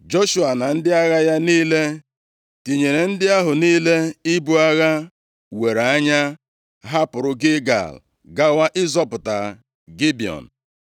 Joshua na ndị agha ya niile, tinyere ndị ahụ niile ibu agha were anya, hapụrụ Gilgal gawa ịzọpụta Gibiọn.